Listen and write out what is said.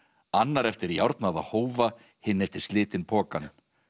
annar eftir hófa hinn eftir slitinn pokann